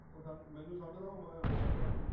ਉਹ ਮੈਨੂੰ ਸਮਝਦਾ ਮੈਂ ਉਸ ਨੂੰ ਸਮਝਦਾ